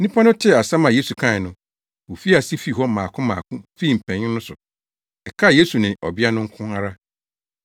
Nnipa no tee asɛm a Yesu kae no, wofii ase fii hɔ mmaako mmaako fii mpanyin no so. Ɛkaa Yesu ne ɔbea no nko ara.